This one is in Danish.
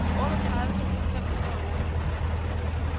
otteogtredive tusind fem hundrede og otteogtres